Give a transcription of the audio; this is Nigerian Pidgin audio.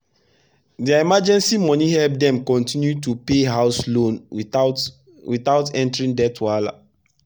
their emergency money help dem continue to pay house loan without without entering debt wahala.